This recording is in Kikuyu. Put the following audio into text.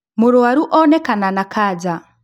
Mũrwaru onekana na kanja